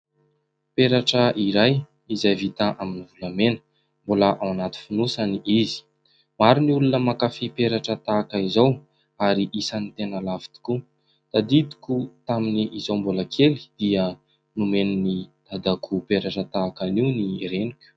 Peratra iray izay vita amin'ny volamena, mbola ao anaty fonosany izy. Maro ny olona mankafy peratra tahaka izao ary isany tena lafo tokoa. Tadidiko tamin' izaho mbola kely dia nomen'ny dadako peratra tahaka anio ny reniko.